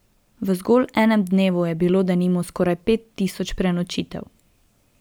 V zgolj enem dnevu je bilo denimo skoraj pet tisoč prenočitev.